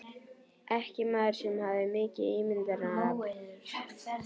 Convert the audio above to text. Ekki maður sem hafði mikið ímyndunarafl.